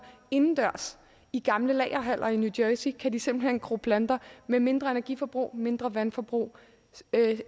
indendørs i gamle lagerhaller i new jersey kan de simpelt hen gro planter med mindre energiforbrug mindre vandforbrug